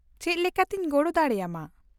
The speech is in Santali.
-ᱪᱮᱫ ᱞᱮᱠᱟᱛᱤᱧ ᱜᱚᱲᱚ ᱫᱟᱲᱮᱭᱟᱢᱟ ?